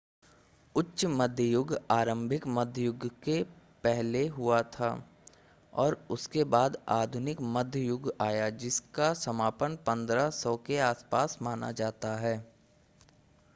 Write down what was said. उच्च मध्य युग आरंभिक मध्य युग से पहले हुआ था और उसके बाद आधुनिक मध्य युग आया जिसका समापन 1500 के आसपास माना जाता है